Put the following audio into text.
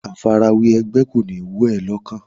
Àfarawé ẹgbẹ́ kò ní wọ̀ ẹ́ lọ́kàn.